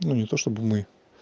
ну не то чтобы мы